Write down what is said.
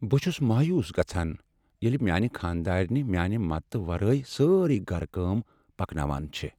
بہٕ چھس مایوس گژھان ییٚلہ میٛٲنہِ خانٛداریٚنہِ میانہ مددتہٕ ورٲے سٲرٕیہ گھرٕ کٲم پکناوان چھےٚ۔